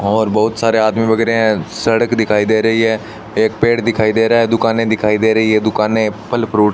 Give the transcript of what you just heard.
और बहुत सारे आदमी वगैरे हैं सड़क दिखाई दे रही हैं एक पेड़ दिखाई दे रहा है दुकानें दिखाई दे रही हैं दुकानें एप्पल फ्रूट --